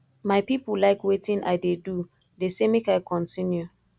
my people like wetin i dey do dey say make i continue